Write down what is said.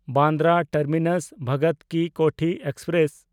ᱵᱟᱱᱫᱨᱟ ᱴᱟᱨᱢᱤᱱᱟᱥ–ᱵᱷᱚᱜᱚᱛ ᱠᱤ ᱠᱳᱴᱷᱤ ᱮᱠᱥᱯᱨᱮᱥ